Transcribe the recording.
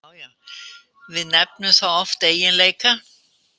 Við nefnum það oft eiginleika.